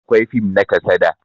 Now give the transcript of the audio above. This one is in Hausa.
Akwai fim na kasada